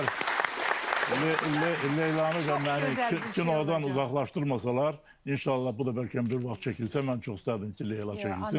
Əgər Leylanı da mənim kinodan uzaqlaşdırmasalar, inşallah bu da bəlkə bir vaxt çəkilsə, mən çox istərdim ki, Leyla çəkilsin.